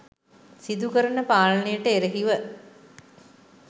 සිදු කරන පාලනයට එරෙහිව